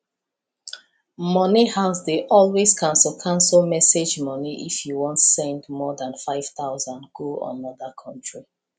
money house dey always cancel cancel message money if you wan send more than 5000 go another country